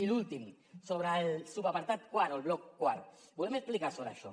i l’últim sobre el subapartat quart o el bloc quart ens volem explicar sobre això